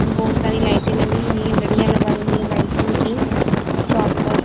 बहुत सारी लाइटें लगी हुई हैं लड़ियां लगाई हुई हैं लाइटिंग की शॉप पर--